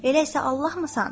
Elə isə Allahmısan?